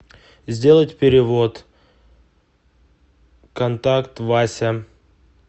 сделать перевод контакт вася